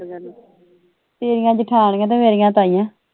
ਤੇਰੀਆਂ ਜਠਾਣੀਆਂ ਤੇ ਮੇਰੀਆਂ ਤਾਈਂਆ